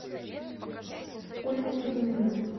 ольгу кузьмину